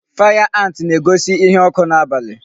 Fire ant na-egosi ihe ọkụ n'abalị.